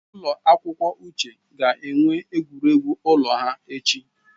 Ụlọ akwụkwọ Uche ga-enwe egwuregwu ụlọ ha echi